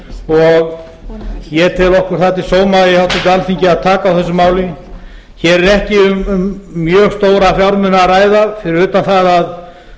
og ég tel okkur það til sóma í háttvirtu alþingi að taka á þessu máli hér er ekki um mjög stóra fjármuni að ræða fyrir utan það að